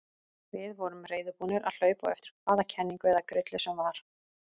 Við vorum reiðubúnir að hlaupa á eftir hvaða kenningu eða grillu sem var.